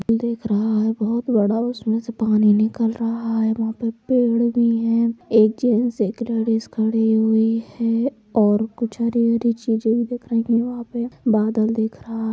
बादल भी दिख रहा है बहुत बड़ा उसमें से पानी निकल रहा है। वहाँ पे पेड़ भी हैं। एक जेंट्स एक लेडिस खड़ी हुई हैं। और कुछ हरी हरी चीजे भी दिख रही हैं यहाँ पे बादल भी दिख रहा---